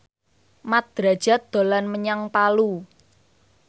Mat Drajat dolan menyang Palu